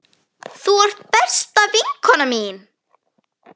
Þú ert besta vinkona mín.